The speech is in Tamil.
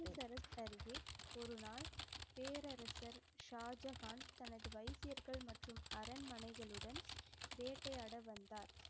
அமிர்தசரஸ் அருகே ஒரு நாள் பேரரசர் ஷாஜகான் தனது வைத்தியர்கள் மற்றும் அரண்மனைகளுடன் வேட்டையாட வந்தார்.